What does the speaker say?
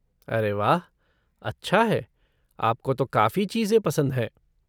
अरे वाह, अच्छा है, आपको तो काफ़ी चीज़ें पसंद हैं।